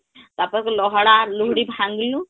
ତାପର କା ଲହଡା ଲୁହୁଡ଼ି ଭାଙ୍ଗଲୁ